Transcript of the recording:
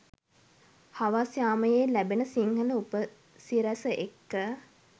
හවස් යාමයේ ලැබෙන සිංහල උපසිරැස එක්ක